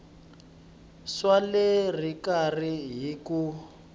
swa le xikarhi hi ku